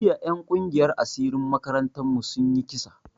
Jiya en kungiyan asirin makarantan mu sun yi kisa